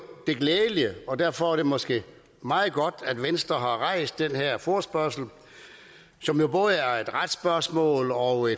det glædelige og derfor er det måske meget godt at venstre har rejst den her forespørgsel som jo både er et retsspørgsmål og